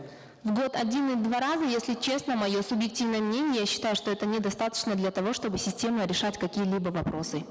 в год один два раза если честно мое субъективное мнение я считаю что это недостаточно для того чтобы системно решать какие либо вопросы